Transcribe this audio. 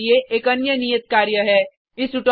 यहाँ आपके लिए एक अन्य नियत कार्य है